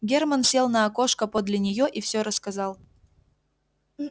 германн сел на окошко подле неё и всё рассказал